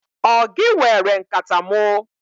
Ọ gị were nkata mụ?